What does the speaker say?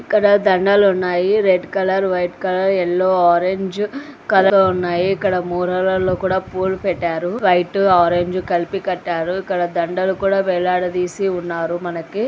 ఇక్కడ దండలు ఉన్నాయి. Red colour white colour yellow orange colour లో ఉన్నాయి. ఇక్కడ మూరలలో కూడా పూలు పెట్టారు వైట్ ఆరంజ్ కలిపి కట్టారు ఇక్కడ దండలు కూడా వేలాడతీసి ఉన్నారు మనకి--